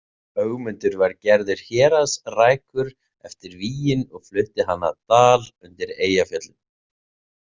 Ögmundur var gerður héraðsrækur eftir vígin og flutti hann að Dal undir Eyjafjöllum.